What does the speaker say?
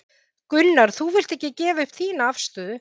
Gunnar: En þú vilt ekki gefa upp þína afstöðu?